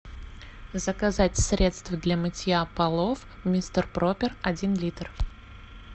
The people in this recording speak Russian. заказать средство для мытья полов мистер пропер один литр